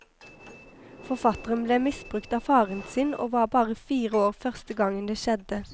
Forfatteren ble misbrukt av faren sin og var bare fire år første gangen det skjedde.